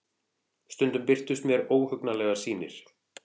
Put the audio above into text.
Stundum birtust mér óhugnanlegar sýnir.